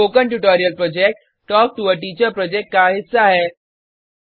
spoken tutorial project talk to a teacher project का हिस्सा है